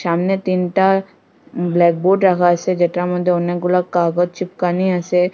সামনে তিনটা ব্ল্যাকবোর্ড রাখা আসে যেটার মদ্যে অনেকগুলা কাগজ চিপকানি আসে।